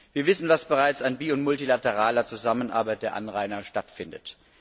Wir wissen, was bereits an bi und multilateraler Zusammenarbeit der Anrainer stattfindet.